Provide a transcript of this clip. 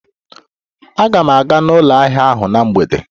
Aga m aga n'ụlọ ahịa ahụ na mgbede.